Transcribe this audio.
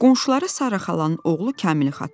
Qonşuları Sara xalanın oğlu Kamili xatırladı.